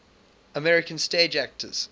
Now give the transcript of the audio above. american stage actors